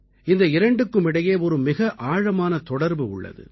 இந்த இரண்டுக்கும் இடையே ஒரு மிக ஆழமான தொடர்பு உள்ளது